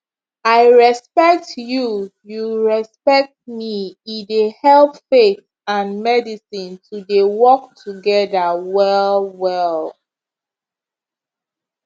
i respect you you respect me e dey help faith and medicine to dey work together well well